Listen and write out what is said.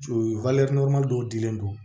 dɔw dilen don